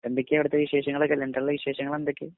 എന്തൊക്കെയാ അവിടുത്തെ വിശേഷങ്ങളൊക്കെ ലണ്ടനിലെ വിശേഷങ്ങളെന്തൊക്കെയാ?